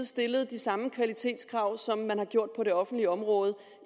stillet de samme kvalitetskrav som man har gjort på det offentlige område